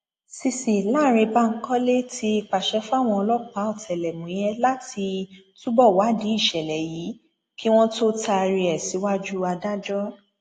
cc lánrẹ bankole ti pàṣẹ fáwọn ọlọpàá ọtẹlẹmúyẹ láti túbọ wádìí ìṣẹlẹ yìí kí wọn tóó taari ẹ síwájú adájọ